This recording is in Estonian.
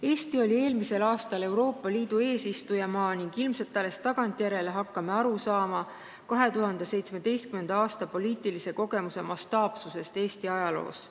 Eesti oli eelmisel aastal Euroopa Liidu eesistujamaa ning ilmselt hakkame alles tagantjärele aru saama 2017. aasta poliitilise kogemuse mastaapsusest Eesti ajaloos.